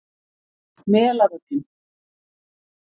Melavöllum